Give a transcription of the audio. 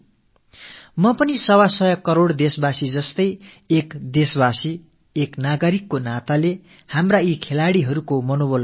நானும் 125 கோடி நாட்டுமக்களைப் போல ஒரு குடிமகன் என்ற முறையில் விளையாட்டு வீர்களின் நம்பிக்கையையும் உற்சாகத்தையும் வளப்படுத்த உங்களோடு கரம் கோர்க்கிறேன்